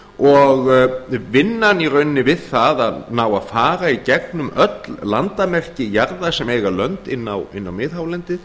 og vinnan í rauninni við það að ná að fara í gegnum öll landamerki jarða sem eiga lönd inni á miðhálendi